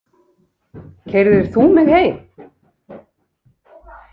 Keyrðir þú mig heim?